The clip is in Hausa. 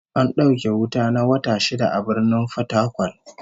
An dauke wuta na wata shida a Birnin Fatakwal